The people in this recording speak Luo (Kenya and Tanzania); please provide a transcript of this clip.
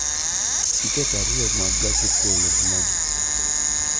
Tiket ariyo mag gach okologin adi?